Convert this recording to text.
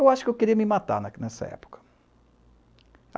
Eu acho que eu queria me matar nessa época.